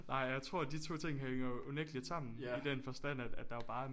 Nej jeg tror at de to ting hænger jo unægteligt sammen i den forstand at der jo bare er